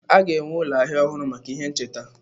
A ga-enwe ụlọ ahịa ọhụrụ maka ihe ncheta.